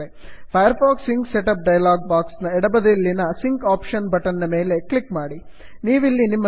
Firefox sync setup Firefox sync set up dialog box ನ ಎಡಬದಿಯಲ್ಲಿನ sync option sync option button ನ ಮೇಲೆ click ಮಾಡಿ